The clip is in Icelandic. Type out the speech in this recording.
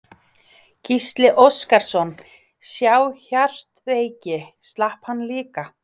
Gísli Óskarsson: Sá hjartveiki, slapp hann líka?